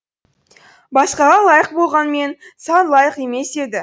басқаға лайық болғанмен саған лайық емес еді